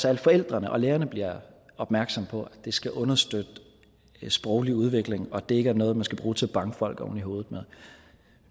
at forældrene og lærerne bliver opmærksomme på at det skal understøtte den sproglige udvikling og at det ikke er noget man skal bruge til at banke folk oven i hovedet med